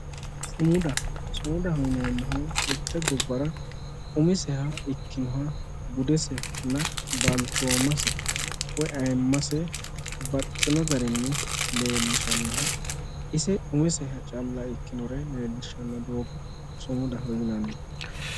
Sumudaho yineemmohu mitte gobbara umiseha ikkinoha budesenna balchoomase woy ayiimmase babbaxxino garinni leellishannoha ise umisere calla ikkinoha leellishanno doogga sumudaho yinanni